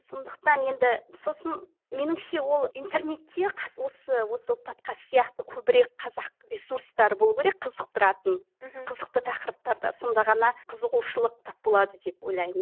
сондықтан енді сосын меніңше ол интернетте осы осы подкаст сияқты көбірек қазақ ресурстары болуы керек қызықтыратын мхм қызықты тақырыптарда сонда ғана қызығушылық тап болады деп ойлаймын